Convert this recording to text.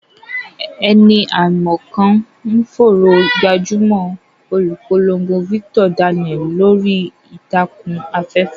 Ẹni àìmọ̀ kan ń fòòró gbajúmọ̀ olùpolongo Victor Daniel lórí ìtàkùn afẹ́fẹ́.